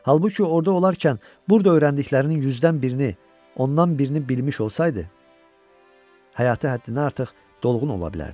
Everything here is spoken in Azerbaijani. Halbuki orda olarkən burda öyrəndiklərinin yüzdən birini, ondan birini bilmiş olsaydı həyatı həddindən artıq dolğun ola bilərdi.